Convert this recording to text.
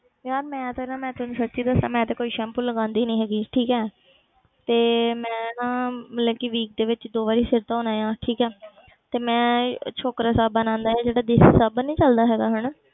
ਯਾਰ ਮੈਂ ਤੇ ਨਾ ਮੈਂ ਤੈਨੂੰ ਸੱਚੀ ਦੱਸਾਂ ਮੈਂ ਤੇ ਕੋਈ ਸੈਂਪੂ ਲਗਾਉਂਦੀ ਨੀ ਹੈਗੀ ਠੀਕ ਹੈ ਤੇ ਮੈਂ ਤਾਂ ਮਤਲਬ ਕਿ weak ਦੇ ਵਿੱਚ ਦੋ ਵਾਰੀ ਸਿਰ ਧੋਣਾ ਆਂ ਠੀਕ ਹੈ ਤੇ ਮੈਂ ਸ਼ੋਕਰਾ ਸਾਬਣ ਆਉਂਦਾ ਹੈ ਜਿਹੜਾ ਦੇਸ਼ੀ ਸਾਬਣ ਨੀ ਚੱਲਦਾ ਹੈਗਾ ਹਨਾ,